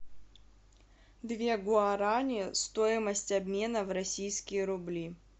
две гуарани стоимость обмена в российские рубли